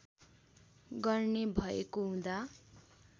गर्ने भएको हुँदा